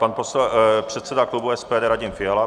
Pan předseda klubu SPD Radim Fiala.